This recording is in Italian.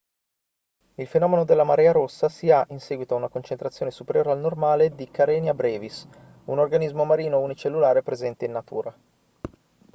il fenomeno della marea rossa si ha in seguito ad una concentrazione superiore al normale di karenia brevis un organismo marino unicellulare presente in natura